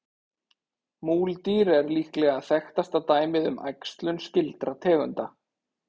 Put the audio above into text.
Múldýr er líklega þekktasta dæmið um æxlun skyldra tegunda.